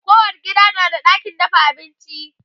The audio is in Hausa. kowani gida na da ɗakin dafa abinci